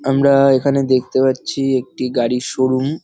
আমরা-আ এখানে দেখতে পারছি একটি গাড়ির শোরুম ।